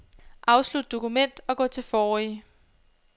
Afslut dokument og gå til forrige.